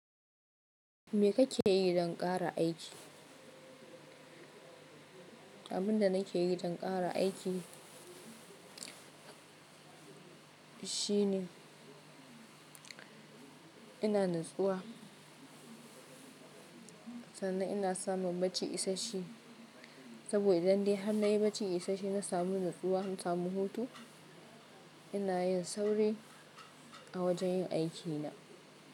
Me kake yi don ƙara aiki? Abunda nake yi don ƙara aiki shine ina natsuwa sannan ina samun bacci isashe saboda idan dai har na yi bacci isashe na samu nutsuwa na samu hutu ina yin sauri a wajen yin aikina.